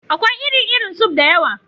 Akwai iri-irin suf (soup) da yawa.